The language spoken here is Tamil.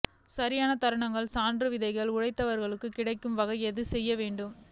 சரியான தருணத்தில் சான்று விதைகள் உழவர்களுக்கு கிடைக்க வகை செய்ய வேண்டும்